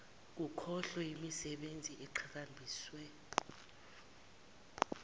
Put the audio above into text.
kukhohlwe yimisebenzi eqhakambiswe